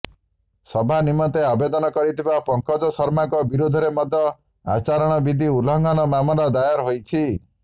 ସଭା ନିମନ୍ତେ ଆବେଦନ କରିଥିବା ପଙ୍କଜ ଶର୍ମାଙ୍କ ବିରୋଧରେ ମଧ୍ୟ ଆଚାରଣ ବିଧି ଉଲ୍ଲଂଘନ ମାମଲା ଦାୟର ହୋଇଛି